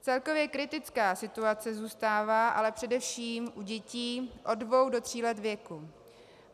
Celkově kritická situace zůstává ale především u dětí od dvou do tří let věku.